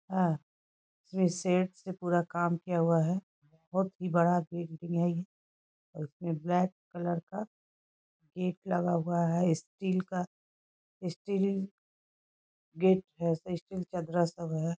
आ रिसेट से पूरा काम किया हुआ है बहुत ही बड़ा बिल्डिंग है ये इसमें ब्लाक कलर का गेट लगा हुआ है स्टील का स्टील गेट है ऐसे स्टील ।